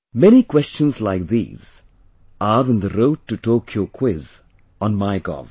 Many questions like these are in the Road To Tokyo Quiz on MyGov